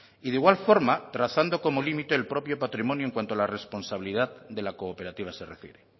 y de igual forma trazando como límite el propio patrimonio en cuanto a la responsabilidad de la cooperativa se refiere